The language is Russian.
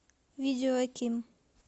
видео а ким